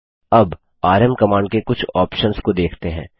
अब RM command के कुछ ऑप्शंस को देखते हैं